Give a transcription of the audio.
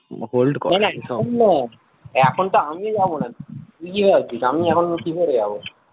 এখন তো আমিও যাবনা তুই কি ভাবছিস আমি এখন কি করে যাবো